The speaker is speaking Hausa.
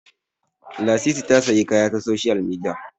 Lasisi ya sayi kaya ta soshiyal midiya